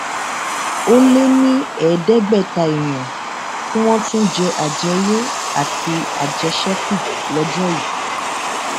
ó lé ní ẹẹdẹgbẹta èèyàn tí wọn tún jẹ àjèyọ àti àjèṣẹkù lọjọ yìí